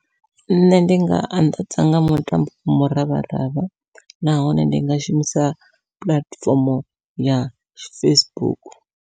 Nṋe ndi nga anḓadza nga mutambo muravharavha, nahone ndi nga shumisa puḽatifomo ya Facebook.